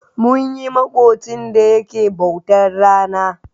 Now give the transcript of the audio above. Munyi maƙocin da yake bautar rana.